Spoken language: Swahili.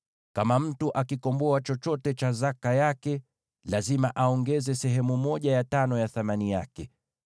Kama mtu akikomboa chochote cha zaka yake, lazima aongeze sehemu ya tano ya thamani yake.